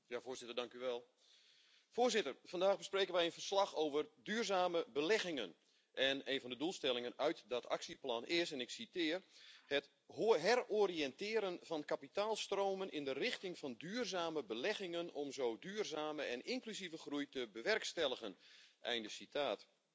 Voorzitter, vandaag bespreken we een verslag over duurzame beleggingen en een van de doelstellingen uit dat actieplan is, en ik citeer, het heroriënteren van kapitaalstromen in de richting van duurzame beleggingen om zo duurzame en inclusieve groei te bewerkstelligen, einde citaat.